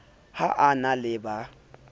ha a na le ba